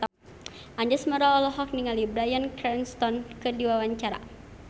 Anjasmara olohok ningali Bryan Cranston keur diwawancara